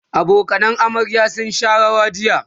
abokanan amaryar sun Sha rawa jiya